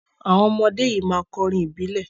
Àwọn ọmọdé yìí máa kọ orin ìbílẹ̀.